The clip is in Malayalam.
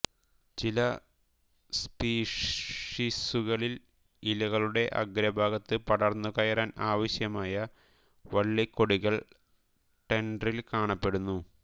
ചില സ്പീഷീസുകളിൽ ഇലകളുടെ അഗ്രഭാഗത്ത് പടർന്നു കയറാൻ ആവശ്യമായ വള്ളികൊടികൾ ടെൻട്രിൽ കാണപ്പെടുന്നു